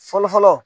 Fɔlɔfɔlɔ